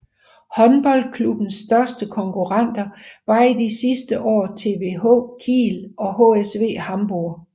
Håndboldklubbens største konkurrenter var i de sidste år THW Kiel og HSV Hamburg